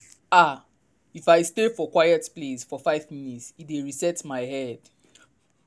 ah- if i stay for quiet place for five minute e dey reset my head.